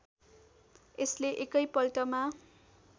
यसले एकै पल्टमा